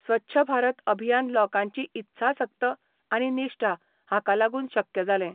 स्वच्छ भारत अभियान लोकांची इत्साशक्त आनी निश्ठा हाका लागून शक्य जालें.